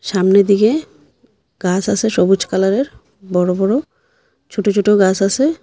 সামনে দিকে গাস আসে সবুজ কালারের বড় বড় ছোট ছোট গাস আসে।